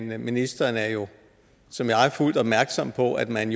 men ministeren er jo som jeg fuldt opmærksom på at man